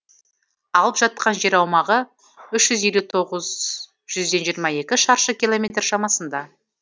алып жатқан жер аумағы үш жүз елу тоғыз жүзден жиырма екі шаршы километр шамасында